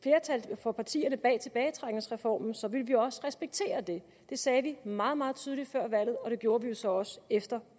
for partierne bag tilbagetrækningsreformen så ville vi også respektere det det sagde vi meget meget tydeligt før valget og det gjorde vi jo så også efter